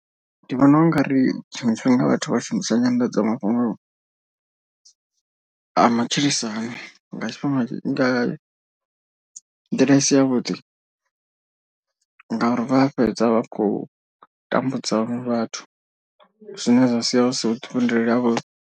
Ndi vhona u nga ri tshiṅwe tshifhinga vhathu vha shumisa nyanḓadzamafhungo a matshilisano nga tshifhinga nga nḓila isi ya vhuḓi. Ngauri vha fhedza vha khou tambudza vhaṅwe vhathu zwine zwa sia hu si vhuḓifhinduleli ha vhuḓi.